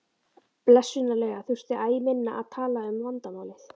Blessunarlega þurfti æ minna að tala um vandamálið.